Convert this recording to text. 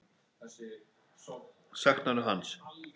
Saknarðu hans?